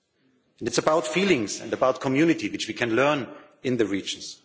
it is about feelings and about community which we can learn in the regions.